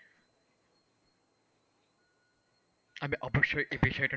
আমি অবশ্যই একটি,